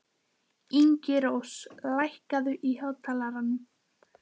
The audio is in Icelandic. Ingirós, lækkaðu í hátalaranum.